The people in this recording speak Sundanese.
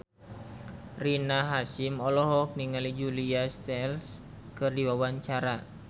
Rina Hasyim olohok ningali Julia Stiles keur diwawancara